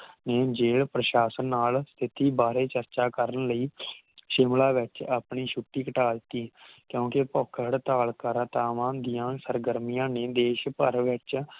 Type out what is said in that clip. ਹੁਣ ਜੇ ਪ੍ਰਸ਼ਾਸ਼ਨ ਨਾਲ ਖੇਤੀ ਬਾਰੇ ਚਰਚਾ ਕਰਨ ਲਈ ਸ਼ਿਮਲਾ ਵਿਚ ਆਪਣੀ ਛੁਟੀ ਘਟਾ ਦਿੱਤੀ ਕਿਉਕਿ ਭੁੱਖ ਹੜਤਾਲ ਕਰਤਾਵਾਂ ਦੀਆ ਸਰਗਰਮੀਆਂ ਨੇ ਦੇਸ਼ ਭਰ ਵਿਚ